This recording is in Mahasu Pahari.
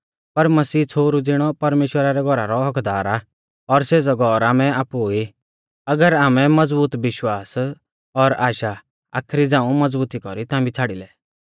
पर मसीह छ़ोहरु ज़िणौ परमेश्‍वरा रै घौरा रौ हक्क्कदार आ और सेज़ौ घौर आमै आपु ई अगर आमै मज़बूत विश्वास और आशा आखरी झ़ाऊं मज़बुती कौरी थांबी छ़ाड़ी लै